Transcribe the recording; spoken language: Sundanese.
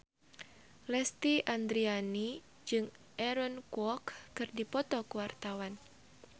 Lesti Andryani jeung Aaron Kwok keur dipoto ku wartawan